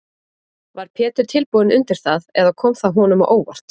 Var Pétur tilbúinn undir það eða kom það honum á óvart?